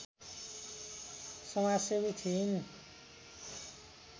समाजसेवी थिइन्